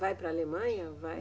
Vai para a Alemanha? Vai